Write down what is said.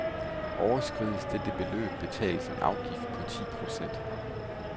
Overskrides dette beløb betales en afgift på ti procent.